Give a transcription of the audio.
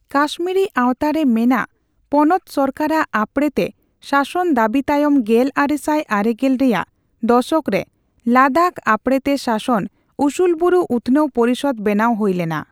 ᱠᱟᱹᱥᱢᱤᱨᱤᱼᱟᱣᱛᱟ ᱨᱮ ᱢᱮᱱᱟᱜ ᱯᱚᱱᱚᱛ ᱥᱚᱨᱠᱟᱨᱟᱜ ᱟᱯᱲᱮᱛᱮ ᱥᱟᱥᱚᱱ ᱫᱟᱹᱵᱤ ᱛᱟᱭᱚᱢ, ᱜᱮᱞᱟᱨᱮᱥᱟᱭ ᱟᱨᱮᱜᱮᱞ ᱨᱮᱭᱟᱜ ᱫᱚᱥᱚᱠ ᱨᱮ ᱞᱟᱫᱟᱠᱷ ᱟᱯᱲᱮᱛᱮ ᱥᱟᱥᱚᱱ ᱩᱥᱩᱞᱵᱩᱨᱩ ᱩᱛᱷᱱᱟᱹᱣ ᱯᱚᱨᱤᱥᱚᱫᱽ ᱵᱮᱱᱟᱣ ᱦᱳᱭ ᱞᱮᱱᱟ ᱾